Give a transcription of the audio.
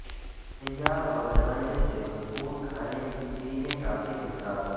سیال اور غذائیت سے بھرپور کھانے کی پینے کافی مقدار